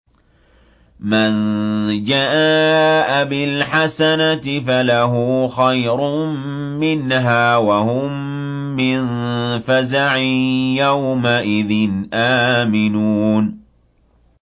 مَن جَاءَ بِالْحَسَنَةِ فَلَهُ خَيْرٌ مِّنْهَا وَهُم مِّن فَزَعٍ يَوْمَئِذٍ آمِنُونَ